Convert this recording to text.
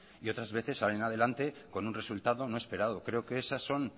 y otras veces salen adelante con un resultado no esperado creo que esas son